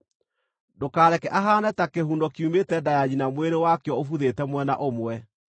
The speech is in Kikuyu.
Ndũkareke ahaane ta kĩhuno kiumĩte nda ya nyina mwĩrĩ wakĩo ũbuthĩte mwena ũmwe.”